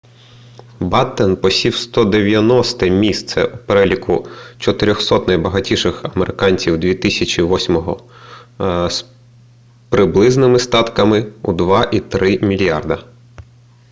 баттен посів 190-те місце у переліку 400-от найбагатших американців 2008-го з приблизними статками у 2.3 мільярда